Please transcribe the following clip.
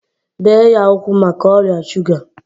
bee ya ụkwụ maka ọrịa shuga!